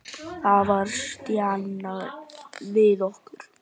Það var stjanað við okkur.